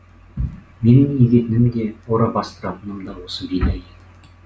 менің егетінім де ора бастыратыным да осы бидай еді